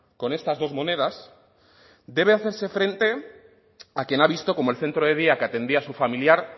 con estas dos monedas debe hacerse frente a quien ha visto cómo el centro de día que atendía a su familiar